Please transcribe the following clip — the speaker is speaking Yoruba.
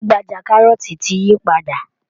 Gbajú-gbajà kárọ́ọ̀tì ti yí padà